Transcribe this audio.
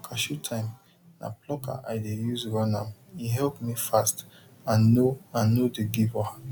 for cashew time na plucker i dey use run ame help me fast and no and no dey give wahala